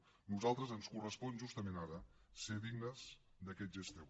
a nosaltres ens correspon justament ara ser dignes d’aquest gest teu